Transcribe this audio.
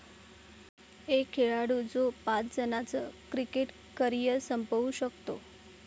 एक खेळाडू जो पाच जणांचं क्रिकेट करिअर संपवू शकतो!